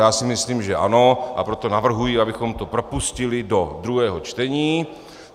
Já si myslím že ano, a proto navrhuji, abychom to propustili do druhého čtení.